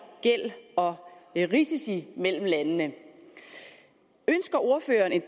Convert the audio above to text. gæld og risici mellem landene ønsker ordføreren en